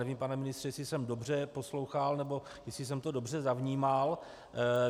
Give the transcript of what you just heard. Nevím, pane ministře, jestli jsem dobře poslouchal nebo jestli jsem to dobře vnímal.